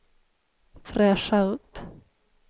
fräscha upp